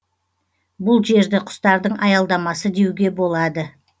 бұл жерді құстардың аялдамасы деуге болады